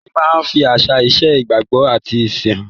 Orin máa ń fi àṣà, ìṣe, ìgbàgbọ́ àti ẹ̀sìn han.